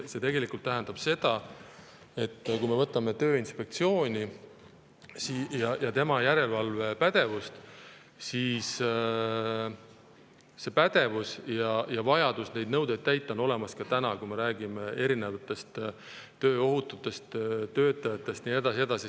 See tähendab seda, et kui me Tööinspektsiooni ja tema järelevalvepädevust, siis see pädevus ja vajadus neid nõudeid täita on olemas ka täna, kui me räägime tööohutusest, töötajatest ja nii edasi ja nii edasi.